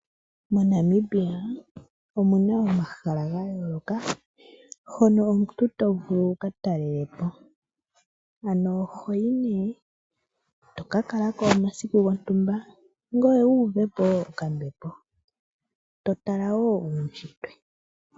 Monamibia omuna omahala ga yoloka hono omuntu tovulu okuya wuka talelepo ,ano ohoyi ne tokakalako omasiku gwontumba tuvupo okambepo ngoye totala wo ushitwe .